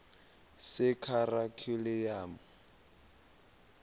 sekharikhyulamu